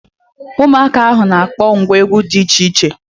Ụmụaka ahụ na akpọ ngwa egwu dị iche iche